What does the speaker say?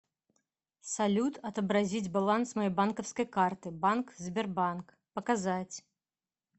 салют отобразить баланс моей банковской карты банк сбербанк показать